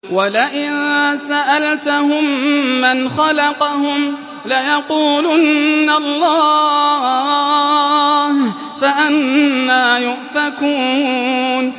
وَلَئِن سَأَلْتَهُم مَّنْ خَلَقَهُمْ لَيَقُولُنَّ اللَّهُ ۖ فَأَنَّىٰ يُؤْفَكُونَ